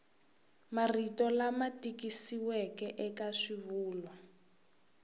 marito lama tikisiweke eka swivulwa